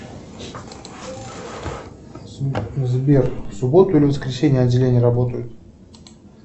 сбер в субботу или воскресенье отделения работают